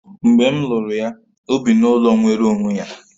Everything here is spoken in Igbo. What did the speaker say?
Mgbe m lụrụ ya, o bi n'ụlọ nwere onwe ya